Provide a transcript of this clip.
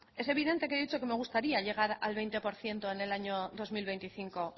es evidente que yo he dicho que me gustaría llegar al veinte por ciento en el año dos mil veinticinco